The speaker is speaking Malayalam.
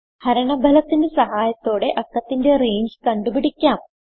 ഹരണ ഫലത്തിന്റെ സഹായത്തോടെ അക്കത്തിന്റെ റേഞ്ച് കണ്ടുപിടിക്കാം